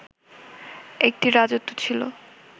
একটি রাজত্ব ছিল